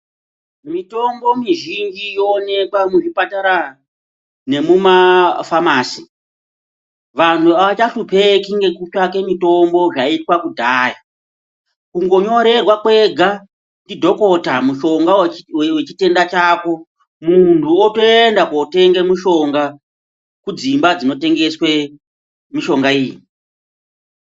Mitombo mizhinji yoonekwa muzvipatara nemumafamasi. Vantu avachahlupeki ngekutsvake mitombo zvaiitwa kudhaya. Kungonyorerwa kwega ndidhokota mushonga wechitenda chako, munhu wotoenda kunotenge mushonga kudzimba dzinotengeswe mishonga iyi.